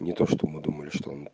не то что мы думали что он